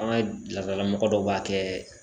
An ka laadala mɔgɔ dɔw b'a kɛ